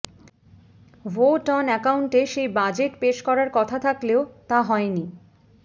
vote on অ্যাকাউন্টে সেই budget পেশ করার কথা থাকলেও তা হয়নি